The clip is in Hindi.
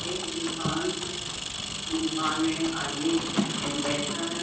एक दुकान है। दुकान में एक आदमी है एक बैठा है।